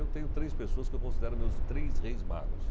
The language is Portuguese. Eu tenho três pessoas que eu considero meus três reis magos.